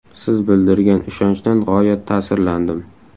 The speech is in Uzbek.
Siz bildirgan ishonchdan g‘oyat ta’sirlandim.